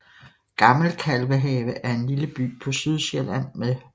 Gammel Kalvehave er en lille by på Sydsjælland med